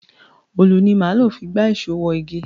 Òlù ni máa lò fi gba ìṣó wọ igi.